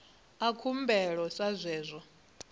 a khumbelo sa zwe zwa